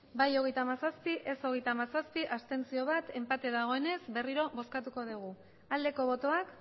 bai hogeita hamazazpi ez hogeita hamazazpi abstentzioak bat enpate dagoenez berriro bozkatuko dugu aldeko botoak